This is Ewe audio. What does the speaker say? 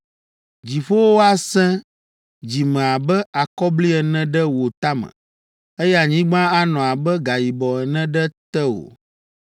“Dziƒowo asẽ dzi me abe akɔbli ene ɖe wò tame, eye anyigba anɔ abe gayibɔ ene ɖe tewò.